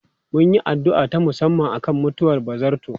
Mun yi addu'a ta musamman akan mutuwar ba zarto.